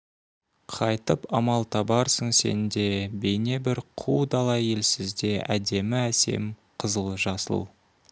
қайтіп амал табарсың сен де бейне бір қу дала елсізде әдемі әсем қызыл жасыл